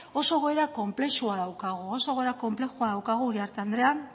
oso egoera konplexua daukagu oso egoera konplexua daukagu uriarte andrea